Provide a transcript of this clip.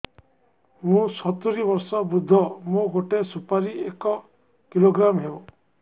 ମୁଁ ସତୂରୀ ବର୍ଷ ବୃଦ୍ଧ ମୋ ଗୋଟେ ସୁପାରି ଏକ କିଲୋଗ୍ରାମ ହେବ